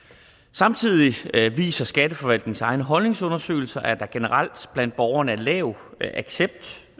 samtidig viser skatteforvaltningens egne holdningsundersøgelser at der generelt blandt borgerne er lav accept